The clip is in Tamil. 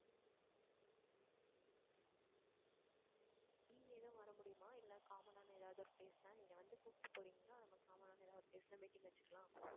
நீங்க எதுவும் வர முடியுமா இல்லை common ஆன எதாவது ஒரு place ல நீங்க வந்து கூப்பிட்டு போறீங்களா? நம்ம common ஆன ஒரு place ல meeting வச்சுக்கலாம்.